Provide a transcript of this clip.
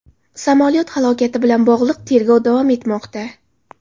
Samolyot halokati bilan bog‘liq tergov davom etmoqda.